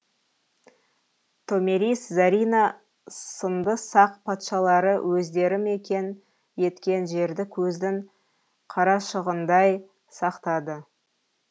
томирис зарина сынды сақ патшалары өздері мекен еткен жерді көздің қарашығындай сақтады